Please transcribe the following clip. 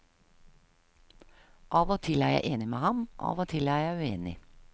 Av og til er jeg enig med ham, av og til er jeg uenig.